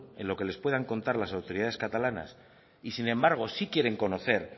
en lo que les puedan contar las autoridades catalanas y sin embargo sí quieren conocer